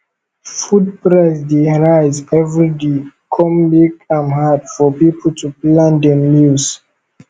food price dey rise every day come make am hard for people to plan dem meals